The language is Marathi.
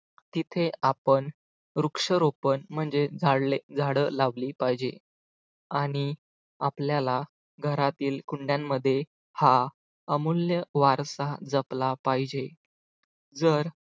तिथे आपण वृक्षरोपण म्हणजे झाडे लावली पाहिजे आणि आपल्याला घरातील कुंड्यांमध्ये हा अमूल्य वारसा जपला पाहिजे जर